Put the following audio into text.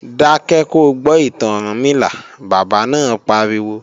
Dákẹ́ ko gbọ́ ìtàn Ọ̀rúnmìlà, bàbá náà pariwo!